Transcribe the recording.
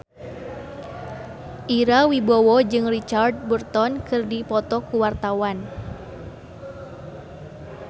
Ira Wibowo jeung Richard Burton keur dipoto ku wartawan